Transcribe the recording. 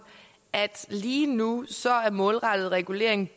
at lige nu er målrettet regulering